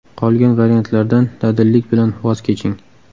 Qolgan variantlardan dadillik bilan voz keching.